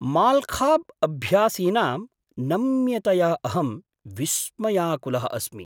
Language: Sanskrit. माल्खम्ब् अभ्यासीनां नम्यतया अहं विस्मयाकुलः अस्मि!